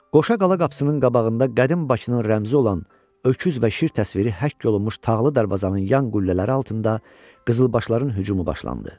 Qoşa Qala qapısının qabağında qədim Bakının rəmzi olan Öküz və Şir təsviri həkk olunmuş Tağlı darvazanın yan qüllələri altında qızılbaşların hücumu başlandı.